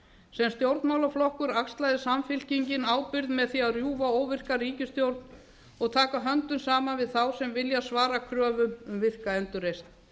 sem stjórnmálaflokkur axlaði samfylkingin ábyrgð með því að rjúfa óvirka ríkisstjórn og taka höndum saman við þá sem vilja svara kröfum um óvirka endurreisn